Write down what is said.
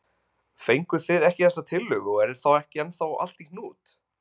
Fenguð þið ekki þessa tillögu og er þá ekki ennþá allt í hnút?